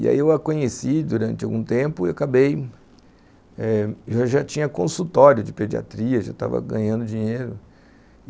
E aí eu a conheci durante algum tempo e acabei... eu já tinha consultório de pediatria, já estava ganhando dinheiro.